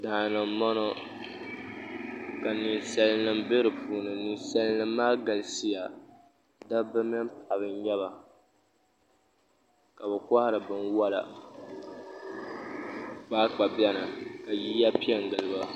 Daani n boŋo ka ninsal nim bɛ di puuni ninsal nim maa galisiya dabba mini paɣaba n nyɛba ka bi kohari binwola kpaakpa biɛni ka yiya piɛ n giliba